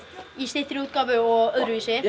í styttri útgáfu og öðruvísi